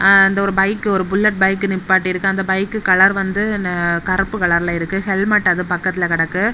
ஆ அந்த ஒரு பைக்கு ஒரு புல்லட் பைக் நிப்பாட்டிருக்கு அந்த பைக் கலர் வந்து கருப்பு கலர்ல இருக்கு ஹெல்மெட் அது பக்கத்துல கிடக்கு.